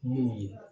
Min ye